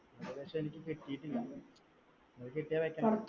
അതുപക്ഷേ എനിക്ക് കിട്ടിയിട്ടില്ല. അത് കിട്ടിയാൽ വെക്കണം.